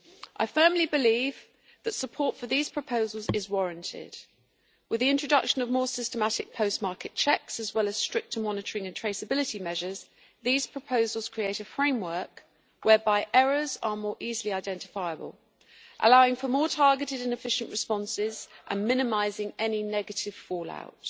I firmly believe that support for these proposals is warranted. With the introduction of more systematic post market checks, as well as stricter monitoring and traceability measures, these proposals create a framework whereby errors are more easily identifiable, allowing for more targeted and efficient responses and minimising any negative fallout.